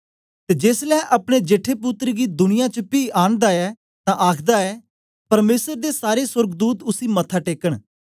ते जेसलै अपने जेठे पुत्तर गी दुनिया च पी आंनदा ऐ तां आखदा ऐ परमेसर दे सारे सोर्गदूत उसी मत्था टेकन